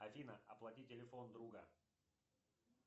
афина оплати телефон друга